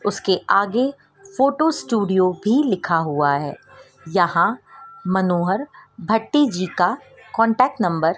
उसके आगे photo studio भी लिखा हुआ है यहां मनोहर भट्टी जी का कांटेक्ट नंबर --